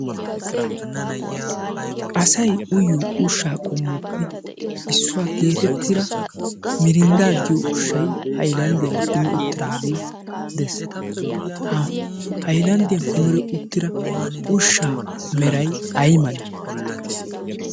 asay uyiyo ushshaa qommoppe issuwaa geetettira mirindda giyo ushshay haylanddiyan kume uttiraagee dees haylanddiyan kumire uttira ushshaa meray ay male